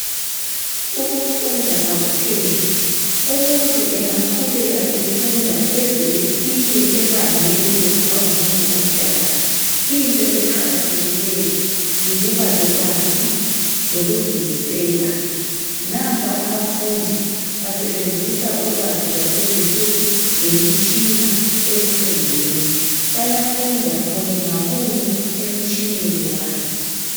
Ukufunda akupheli umuntu engaqhubeka efunda eze efike ebangeni lokuba ngumuntu omdala into eqakathekileyo yikuba lolwazi lokuzimisela nampa abafundi basebenzisa ulwazi lwakulezinsuku lemitshina ekufundeni bayafunda munye ngamunye emtshineni wakhe